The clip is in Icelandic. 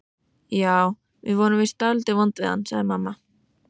Já, við vorum víst dálítið vond við hann, sagði mamma.